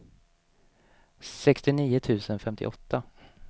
sextionio tusen femtioåtta